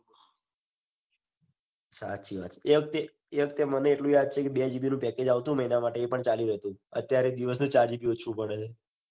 સાચી વાત એ વખતે એ વખતે મને યાદ છે કે બે જીબી નું package આવતું. ને એના માટે એ પણ ચાલી રેતુ. અત્યારે દિવસ નું ચાર જીબી ઓછું પડે.